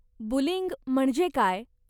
Bullying म्हणजे काय?